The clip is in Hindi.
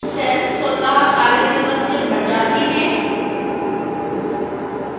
cells स्वतः कार्यदिवस से भर जाते हैं